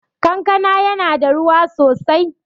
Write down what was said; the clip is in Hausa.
Kankana yana da ruwa sosai